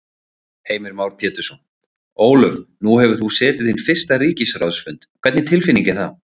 Heimir Már Pétursson: Ólöf nú hefur þú setið þinn fyrsta ríkisráðsfund, hvernig tilfinning er það?